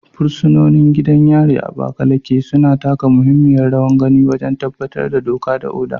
Fursunoni a gidan yarin Abakaleke, suna taka muhimmiyar rawa wajen tabbatar da doka da oda.